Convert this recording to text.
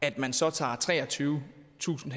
at man så tager treogtyvetusind ha